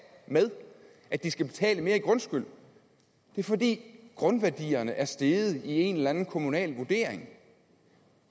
med at de skal betale mere i grundskyld det er fordi grundværdierne er steget i en eller anden kommunal vurdering